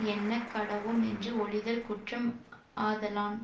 எண்ணக் கடவோம் என்று ஒழிதல் குற்றம் ஆதலான்